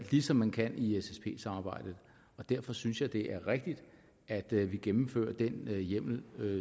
ligesom man kan i ssp samarbejdet og derfor synes jeg det er rigtigt at vi gennemfører den hjemmel